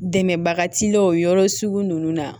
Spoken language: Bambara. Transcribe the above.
Dɛmɛbaga t'i la o yɔrɔ sugu ninnu na